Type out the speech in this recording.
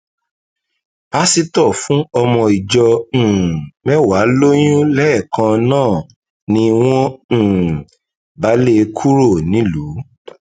pásítọ fún ọmọ ìjọ um mẹwàá lóyún lẹẹkan náà ni wọn um bá lé e kúrò nílùú